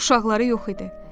Uşaqları yox idi.